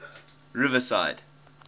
riverside